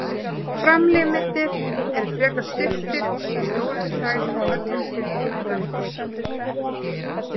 Framlimirnir eru frekar stuttir með stórar klær á öllum fimm fingrum.